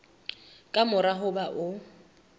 ka mora ho ba o